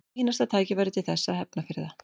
Fínasta tækifæri til þess að hefna fyrir það.